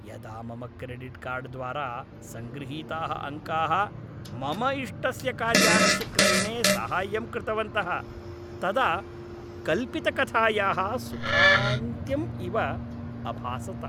यदा मम credit card द्वारा सङ्गृहीताः अङ्काः मम इष्टस्य कार्यानस्य क्रयणे साहाय्यं कृतवन्तः तदा कल्पितकथायाः सुखान्त्यम् इव अभासत।